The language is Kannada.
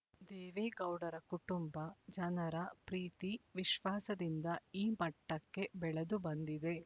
ದೇವೇಗೌಡರ ಕುಟುಂಬ ಜನರ ಪ್ರೀತಿ ವಿಶ್ವಾಸದಿಂದ ಈ ಮಟ್ಟಕ್ಕೆ ಬೆಳೆದುಬಂದಿದೆ